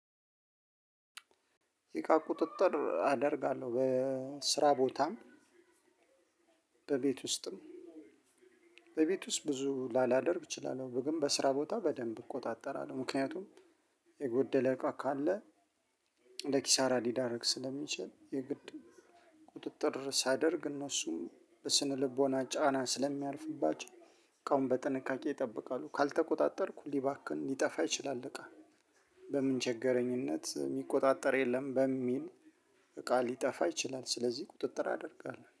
እቃ ቁጥጥር አደርጋለሁ በስራ ቦታም በቤት ውስጥም በቤት ውስጥ ብዙ ላላደርግ እችላለሁ ግን በስራ ቦታ በደንብ እቆጣጠራለሁ። ምክንያቱም የጎደለ እቃ ካለ ለኪሳራ ሊዳረግ ስለሚችል። የግድ ቁጥጥር ሳደርግ እነሱም በስነልቦና ጫና ስለሚያልፍባቸው እቃውን በጥንቃቄ ይጠብቃሉ። ካልተቆጣጠርኩ ሊባክን ሊጠፋ ይችላል። እቃ በምንቸገረኝነት የሚቆጣጠር የለም። በሚል እቃ ሊጠፋ ይችላል ስለዚህ ቁጥጥር አደርጋለሁ